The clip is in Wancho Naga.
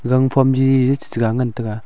gangphom ji chechega ngan taga.